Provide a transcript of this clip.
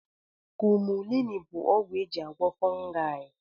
Kumulini bụ ọgwụ eji agwọ ọrịa fongai